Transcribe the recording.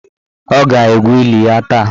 Ọ ga-egwu eli ya taa.